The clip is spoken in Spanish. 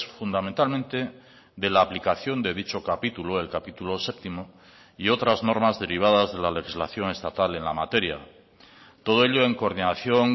fundamentalmente de la aplicación de dicho capítulo el capítulo séptimo y otras normas derivadas de la legislación estatal en la materia todo ello en coordinación